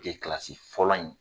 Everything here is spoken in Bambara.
De Kilasi fɔlɔ in